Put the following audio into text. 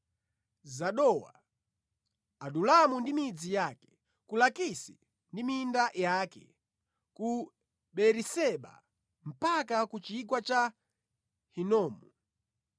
Zanowa, Adulamu ndi midzi yake, ku Lakisi ndi minda yake, ku Beeriseba mpaka ku chigwa cha Hinomu.